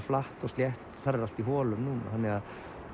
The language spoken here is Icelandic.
flatt og slétt þar er allt í holum núna þannig að